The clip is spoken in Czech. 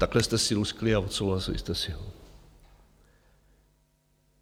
Takhle jste si luskli a odsouhlasili jste si ho.